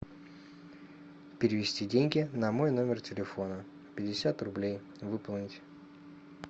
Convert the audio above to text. перевести деньги на мой номер телефона пятьдесят рублей выполнить